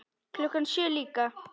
Klukkan sjö líka.